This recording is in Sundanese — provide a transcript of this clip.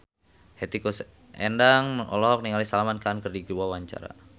Hetty Koes Endang olohok ningali Salman Khan keur diwawancara